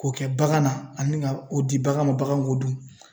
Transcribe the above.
K'o kɛ bagan na ani ka o di bagan ma bagan k'o dun